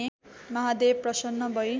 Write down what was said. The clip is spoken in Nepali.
महादेव प्रसन्न भई